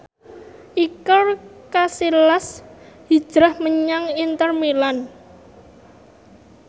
Iker Casillas hijrah menyang Inter Milan